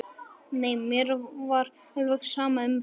Nei, mér var alveg sama um það.